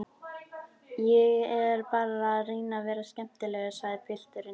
Ég er bara að reyna að vera skemmtilegur, sagði pilturinn.